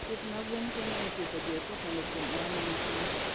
Pith mag gwen konyo e tieko dhier kokalo kuom ohala matin.